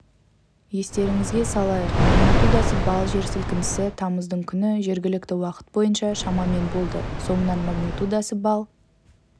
естеріңізге салайық магнитудасы балл жер сілкінісі тамыздың күні жергілікті уақыт бойынша шамамен болды соңынан магнитудасы балл